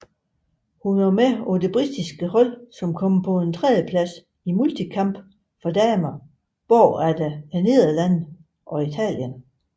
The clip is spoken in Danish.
Hun var med på det britiske hold som kom på en tredjeplads i multikamp for damer bagefter Nederlandene og Italien